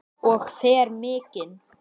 Og fer mikinn.